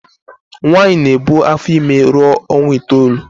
Nwaanyi na ebu afor ime ruo onwa itoolu.